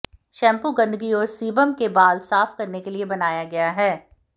shampoo गंदगी और sebum के बाल साफ करने के लिए बनाया गया है